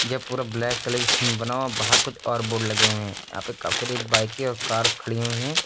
ये पूरा black colour की थीम मे बना हुआ बाहर कुछ और बोर्ड लगे हुए हैं यहां पे काफ़ी सारी बाईकें और कार्स खड़ी हुई हैं।